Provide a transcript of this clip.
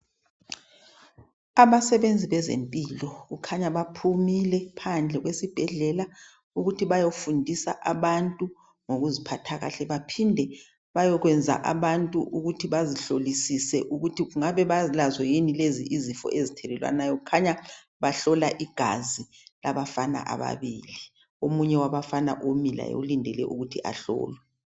abasebenzi bezempilo kukhanya baphumile phandle kwesibhedlela ukuthi bayofundisa abantu ngokuziphatha kahle baphinde bayokwenza abantu ukuthi bazihlolisise ukuthi bangabe balazo yini lezi izifo ezithelelwanayo kukhanya bahlola igazi labafana ababili omunye umfana umile laye ulinde ukutji laye ahlolwe